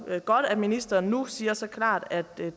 det er godt at ministeren nu siger så klart at